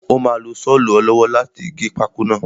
Ó máa lo sọlu ọ lọ́wọ́ láti gé pákó náà.